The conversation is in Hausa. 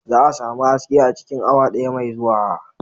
Za a sami haske a cikin awa daya mai zuwa.